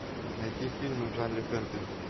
найти фильмы в жанре фэнтези